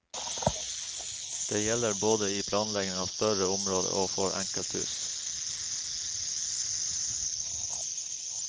Det gjelder både i planleggingen av større områder og for enkelthus.